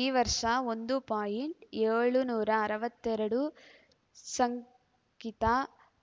ಈ ವರ್ಷ ಒಂದು ಪಾಯಿಂಟ್ ಏಳುನೂರ ಅರವತ್ತೆರಡು ಶಂಕಿತ